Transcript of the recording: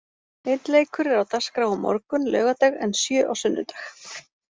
Einn leikur er á dagskrá á morgun, laugardag en sjö á sunnudag.